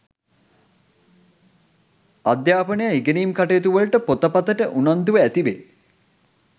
අධ්‍යාපනය ඉගෙනීම් කටයුතුවලට පොතපතට උනන්දුව ඇති වේ.